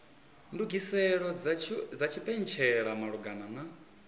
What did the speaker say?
ndugiselo dza tshipentshela malugana na